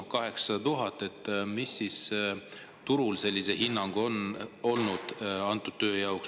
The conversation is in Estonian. Noh, 800 000 eurot – milline hinnang on turul tööle antud?